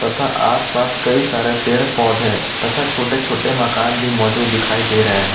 आस पास कई सारे पेड़ पौधे तथा छोटे छोटे मकान भी मौजूद दिखाई दे रहे हैं।